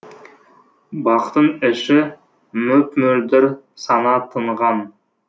бақтың іші мөп мөлдір сана тынған